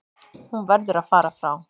Hún verður að fara frá